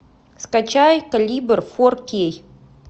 скачай калибр форкей